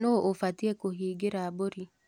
Nũ ũbatie kũhingĩra mbũri.